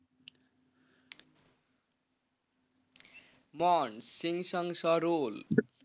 মন সিং শাম সারুল।